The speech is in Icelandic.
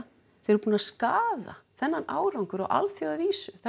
þeir eru búnir að skaða þennan árangur á alþjóðavísu það